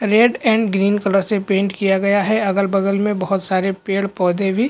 red and green colour से paint किया गया है अगल-बगल मे बहुत सारे पेड़-पौधे भी --